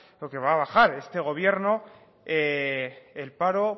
o va a bajar este gobierno el paro